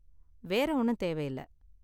வேற ஒண்ணும் தேவயில்ல.